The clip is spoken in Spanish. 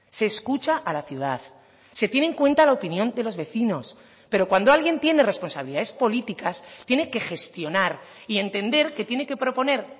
se escucha a la ciudad se tiene en cuenta la opinión de los vecinos pero cuando alguien tiene responsabilidades políticas tiene que gestionar y entender que tiene que proponer